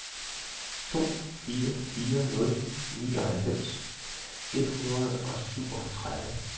to fire fire nul nioghalvfems et hundrede og syvogtredive